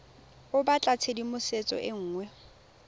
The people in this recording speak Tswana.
o batla tshedimosetso e nngwe